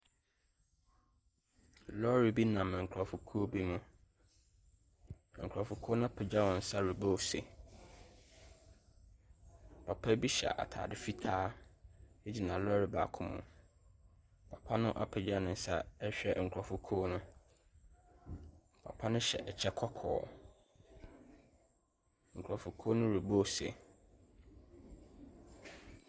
Lɔre bi nam nkurɔfokuo bi mu. Nkurɔfokuo no apagya wɔn nsa rebɔ ose. Papa bi hyɛ atade fitaa gyina lɔre baako mu. Papa no apagya ne nsa rehwɛ nkurɔfokuo no. papa no hyɛ kyɛ kɔkɔɔ. Nkurɔfokuo no rebɔ se.